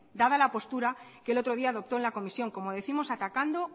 dada la postura que el otro día adoptó en la comisión como décimos atacando